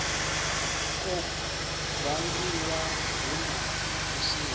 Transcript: kwo vangiwa hu na vhusiki